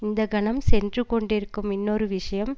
இந்தக்கணம் சென்று கொண்டிருக்கும் இன்னொரு விஷயம்